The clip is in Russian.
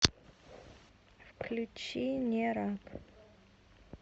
включи нерак